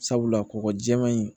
Sabula kɔkɔ jɛman in